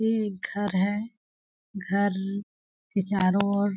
ये एक घर है घर के चारों ओर--